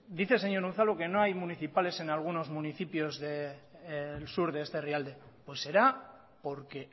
dice señor unzalu que no hay municipales en algunos municipios del sur de este herrialde pues será porque